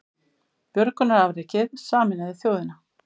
Björgunarafrekið sameinaði þjóðina